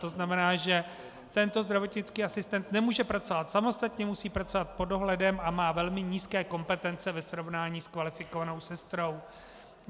To znamená, že tento zdravotnický asistent nemůže pracovat samostatně, musí pracovat pod dohledem a má velmi nízké kompetence ve srovnání s kvalifikovanou sestrou.